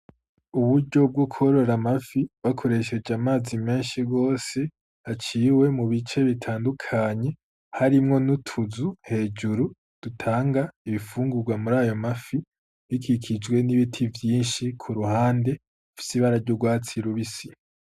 Uburyo bwo korora amafi bakoresheje amazi menshi gose aciwe mu bice bitandukanye harimwo n'utuzu hejuru dutanga ibifungura muri ayo mafi bikikijwe n'ibiti vyinshi ku ruhande bifise ibara ry'urwatsi rubisi.